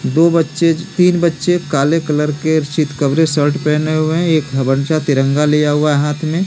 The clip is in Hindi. दो बच्चे तीन बच्चे काले कलर के चितकबरे शर्ट पहने हुए हैं एक बच्चा तिरंगा लिया हुआ है हाथ में --